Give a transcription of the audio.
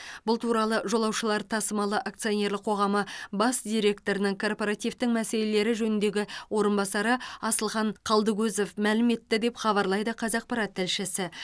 бұл туралы жолаушылар тасымалы акционерлік қоғамы бас директорының корпоративтің мәселелері жөніндегі орынбасары асылхан қалдыкозов мәлім етті деп хабарлайды қазақпарат тілшісі